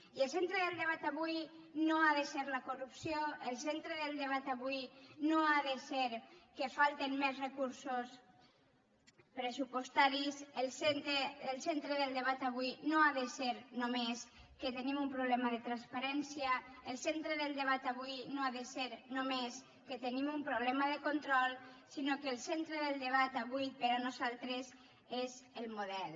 i el centre del debat avui no ha de ser la corrupció el centre del debat avui no ha de ser que falten més recursos pressupostaris el centre del debat avui no ha de ser només que tenim un problema de transparència el centre del debat avui no ha de ser només que tenim un problema de control sinó que el centre del debat avui per a nosaltres és el model